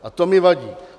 A to mi vadí.